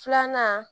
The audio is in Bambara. Filanan